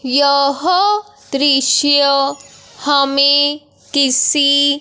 यह दृश्य हमें किसी--